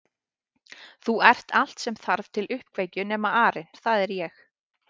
Þú ert allt sem þarf til uppkveikju nema arinn það er ég